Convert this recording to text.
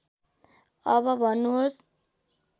अब भन्नुहोस्